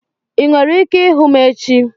Ị nwere ike ịhụ m echi?